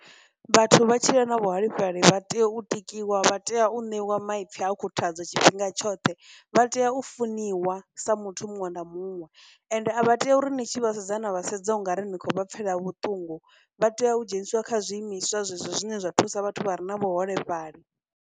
Vhathu vha tshila na vhuholefhali vha tea u tikiwa, vha tea u ṋewa maipfi a khuthadzo tshifhinga tshoṱhe, vha tea u funiwa sa muthu muṅwe na muṅwe, ende a vha tei uri ni tshi vha sedza na vha sedza ungari ni khou vha pfhela vhuṱungu, vha tea u dzheniswa kha zwi imiswa zwezwo zwine zwa thusa vhathu vha re na vhuholefhali.